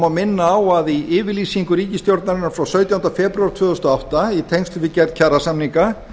má minna á að í yfirlýsingu ríkisstjórnarinnar frá sautjándu febrúar tvö þúsund og átta í tengslum við gerð kjarasamninga